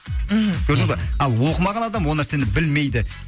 мхм көрдіңіз ба ал оқымаған адам ол нәрсені білмейді